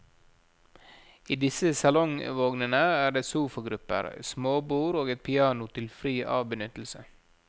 I disse salongvognene er det sofagrupper, småbord og et piano til fri avbenyttelse.